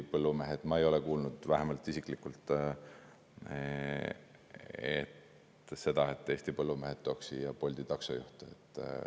Ma ei ole vähemalt isiklikult kuulnud seda, et Eesti põllumehed tooks siia Bolti taksojuhte.